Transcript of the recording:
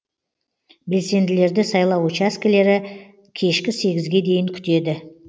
белсенділерді сайлау учаскілері кешкі сегізге дейін күтеді